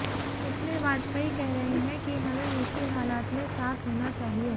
इसमें वाजपेयी कह रहे हैं कि हमें मुश्किल हालात में साथ होना चाहिए